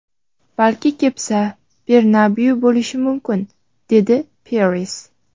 Balki, Cepsa Bernabeu bo‘lishi mumkin”, - dedi Peres.